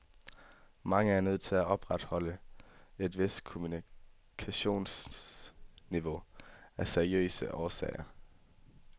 Mange er nødt til at opretholde et vist kommunikationsniveau af seriøse årsager.